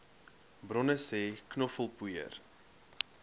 bronne sê knoffelpoeier